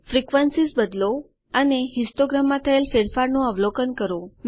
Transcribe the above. frequencies બદલો અને histogram માં થયેલ ફેરફાર નું અવલોકન કરો